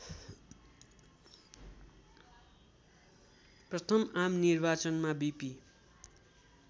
प्रथम आमनिर्वाचनमा बीपी